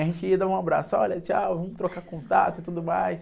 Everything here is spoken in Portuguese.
A gente ia dar um abraço, olha, tchau, vamos trocar contato e tudo mais.